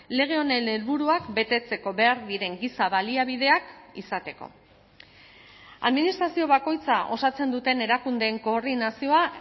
lege honen helburuak betetzeko behar diren giza baliabideak izateko administrazio bakoitza osatzen duten erakundeen koordinazioa